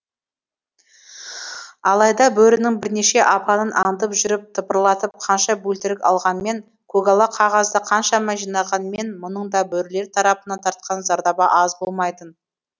алайда бөрінің бірнеше апанын аңдып жүріп тыпырлатып қанша бөлтірік алғанмен көгала қағазды қанша жинағанмен мұның да бөрілер тарапынан тартқан зардабы аз болмайтын